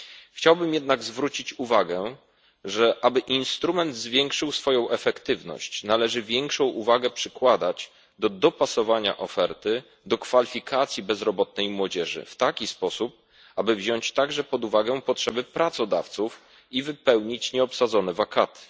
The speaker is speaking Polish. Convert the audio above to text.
Chciałbym jednak zwrócić uwagę, że aby instrument zwiększył swoją efektywność, należy większą wagę przykładać do dopasowania oferty do kwalifikacji bezrobotnej młodzieży w taki sposób, aby wziąć także pod uwagę potrzeby pracodawców i wypełnić nieobsadzone wakaty.